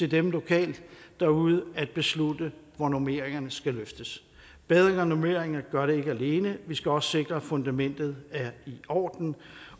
dem lokalt derude at beslutte hvor normeringerne skal løftes bedre normeringer gør det ikke alene vi skal også sikre at fundamentet er i orden